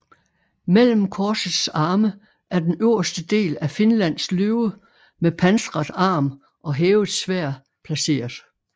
Mellem korsets arme er den øverste del af Finlands løve med pansret arm og hævet sværd placeret